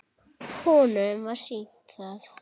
Honum var sýnt það.